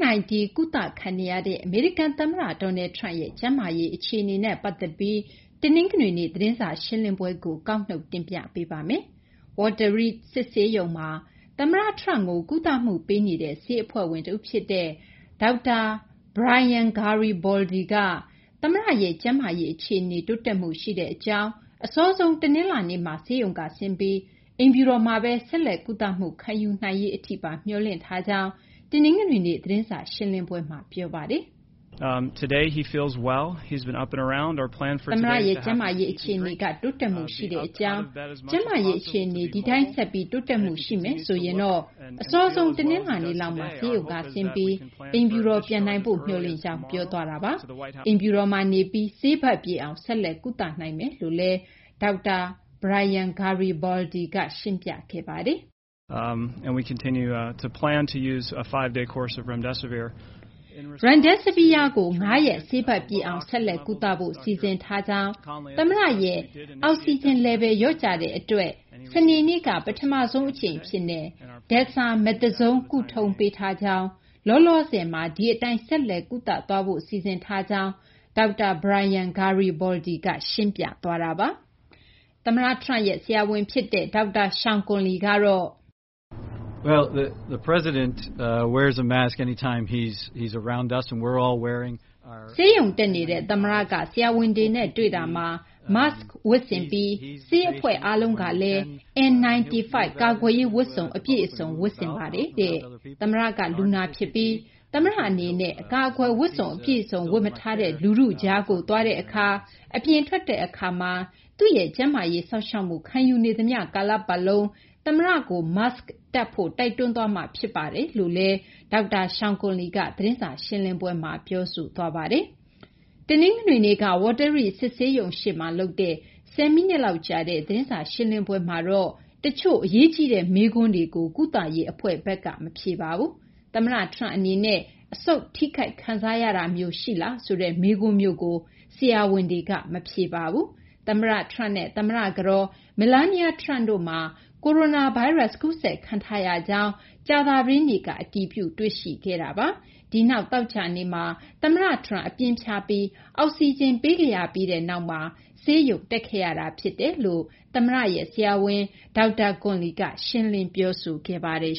-19 ကုသခံနေရတဲ့ အမေရိကန်သမ္မတ Donald Trump ရဲ့ ကျန်းမာရေး အခြေအနေနဲ့ ပတ်သက်ပြီး တနင်္ဂနွေနေ့ သတင်းစာရှင်းလင်းပွဲကို မသိင်္ဂီထိုက် ကောက်နုတ် တင်ပြပေးထားပါတယ်။ Walter Reed စစ်ဆေးရုံမှာ သမ္မတ Trump ကို ကုသမှုပေးနေတဲ့ ဆေးအဖွဲ့ဝင် တဦးဖြစ်တဲ့ ဒေါက်တာ Brian Garibaldi က သမ္မတရဲ့ ကျန်းမာရေးအခြေအနေ တိုးတက်မှုရှိတဲ့အကြောင်း၊ အစောဆုံး တနင်္လာနေ့မှာ ဆေးရုံကဆင်းပြီး အိမ်ဖြူတော်မှာပဲ ဆက်လက် ကုသမှုခံယူနိုင်ရေးအထိပါ မျှော်လင့်ထားကြောင်း တနင်္ဂနွေနေ့ သတင်းစာရှင်းလင်းပွဲမှာ ပြောဆိုသွားပါတယ်။ “တနင်္ဂနွေနေ့မှာ သမ္မတရဲ့ ကျန်းမာရေး အခြေအနေက တိုးတက်မှုရှိကြောင်း၊ သမ္မတရဲ့ ကျန်းမာရေး အခြေအနေက ဒီအတိုင်း ဆက်ပြီး တိုးတက်မှု ရှိနေမယ်ဆိုရင် အစောဆုံး တနလာၤနေ့လောက်မှာ ဆေးရုံကဆင်းပြီး အိမ်ဖြူတော် ပြန်နိုင်ဖို့ မျှော်လင့်ကြောင်း” ပြောသွားတာပါ။ အိမ်ဖြူတော်မှာနေပြီး ဆေးပတ်ပြည့်အောင် ဆက်လက် ကုသနိုင်မယ်လို့လည်း ဒေါက်တာ Brian Garibaldi ရှင်းပြခဲ့တာ ဖြစ်ပါတယ်။ “Remdesivir ကို ၅ ရက် ဆေးပတ်ပြည့်အောင် ဆက်လက်ကုသဖို့ စီစဉ်ထားကြောင်း၊ သမ္မတရဲ့ အောက်ဆီဂျင် လျော့ကျတဲ့အတွက် စနေနေ့က ပထမဆုံးအကြိမ်အဖြစ် Dexamethasone ကုထုံးပေးထားကြောင်း၊ လောလောဆယ်မှာ ဒီအတိုင်း ဆက်လက်ကုသသွားဖို့ စီစဉ်ထားကြောင်း” ဒေါက်တာ Brian Garibaldi က ရှင်းပြသွားပါတယ်။ သမ္မတ Trump ရဲ့ ဆရာဝန်ဖြစ်တဲ့ ဒေါက်တာ Sean Conley ကတော့... “ဆေးရုံတက်နေတဲ့ သမ္မတက ဆရာဝန်တွေနဲ့ တွေ့တာမှာ Mask ဝတ်ဆင်ပြီး ဆေးအဖွဲ့အားလုံးကလည်း N95 ကာကွယ်ရေးဝတ်စုံ အပြည့်အစုံ ဝတ်ဆင်ပါတယ်။ သမ္မတက လူနာဖြစ်ပြီး သမ္မတအနေနဲ့ အကာအကွယ်ဝတ်စုံ အပြည့်အစုံ ဝတ်မထားတဲ့ လူထုကြားကို သွားတဲ့အခါမှာ၊ အပြင်ထွက်တဲ့အခါမှာ သူ့ရဲ့ ကျန်းမာရေးစောင့်ရှောက်မှု ခံယူနေသမျှ ကာလပတ်လုံး သမ္မတကို Mask တပ်ဖို့ တိုက်တွန်းသွားမှာ ဖြစ်ပါတယ်” လို့ သတင်းစာရှင်းလင်းပွဲမှာ ပြောဆိုသွားပါတယ်။ တနင်္ဂနွေနေ့က Walter Reed စစ်ဆေးရုံရှေ့မှာ လုပ်တဲ့ ၁၀ မိနစ်လောက်ကြာတဲ့ သတင်းစာရှင်းလင်းပွဲမှာတော့ တချို့ အရေးကြီးတဲ့ မေးခွန်းတွေကို ကုသရေးအဖွဲ့ဘက်က မဖြေပါဘူး။ သမ္မတ Trump အနေနဲ့ အဆုတ်ထိခိုက်တာမျိုး ခံစားရလားဆိုတဲ့ မေးခွန်းမျိုးကိုတော့ ဆရာဝန်တွေက ဖြေကြားမသွားပါဘူး။ သမ္မတ Trump နဲ့ သမ္မတကတော် Melania Trump တို့မှာ ကိုရိုနာဗိုင်းရပ်စ် ကူးစက်ခံထားရကြောင်း ကြာသပတေးနေ့က အတည်ပြု တွေ့ရှိခဲ့တာပါ။ ဒီနောက် သောကြာနေ့မှာ သမ္မတ Trump အပြင်းဖျားပြီး အောက်စီဂျင် ပေးခဲ့ရပြီးနောက်မှာ ဆေးရုံတက်ခဲ့ရတာ ဖြစ်တယ်လို့ သမ္မတရဲ့ ဆရာဝန် ဒေါက်တာ Conley က ရှင်းလင်း ပြောဆိုခဲ့ပါတယ်